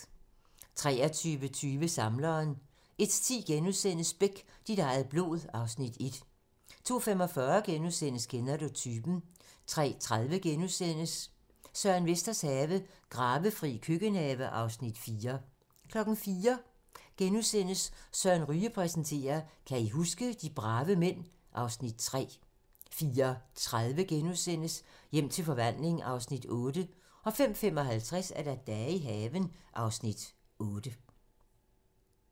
23:20: Samleren 01:10: Beck - dit eget blod (Afs. 1)* 02:45: Kender du typen? * 03:30: Søren Vesters have - Gravefri køkkenhave (Afs. 4)* 04:00: Søren Ryge præsenterer: Kan I huske? - de brave mænd (Afs. 3)* 04:30: Hjem til forvandling (Afs. 8)* 05:55: Dage i haven (Afs. 8)